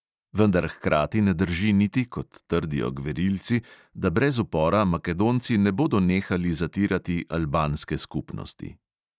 Vendar hkrati ne drži niti, kot trdijo gverilci, da brez upora makedonci ne bodo nehali zatirati albanske skupnosti.